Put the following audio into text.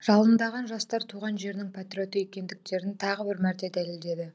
жалындаған жастар туған жерінің патриоты екендіктерін тағы бір мәрте дәлелдеді